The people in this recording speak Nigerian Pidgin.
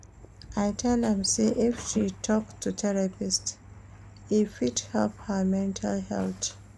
I tell am sey if she tok to therapist, e fit help her mental health.